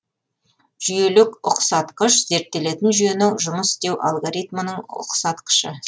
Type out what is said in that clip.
жүйелік ұқсатқыш зерттелетін жүйенің жұмыс істеу алгоритмінің ұқсатқышы